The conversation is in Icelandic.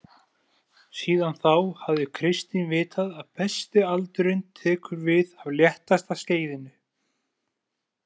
Síðan þá hafði Kristín vitað að besti aldurinn tekur við af léttasta skeiðinu.